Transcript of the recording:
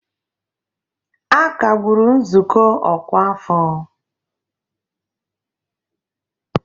A kagburu nzukọ ọkwa afọ